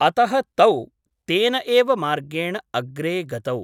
अतः तौ तेन एव मार्गेण अग्रे गतौ ।